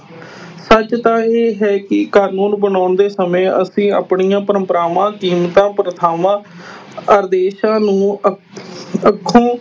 ਸੱਚ ਤਾਂ ਇਹ ਹੈ ਕਿ ਕਾਨੂੰਨ ਬਣਾਉਂਦੇ ਸਮੇਂ ਅਸੀਂ ਆਪਣੀਆਂ ਪਰੰਪਰਾਵਾਂ, ਕੀਮਤਾਂ, ਪ੍ਰਥਾਵਾਂ ਆਦੇਸ਼ਾਂ ਨੂੰ ਅ ਅੱਖੋਂ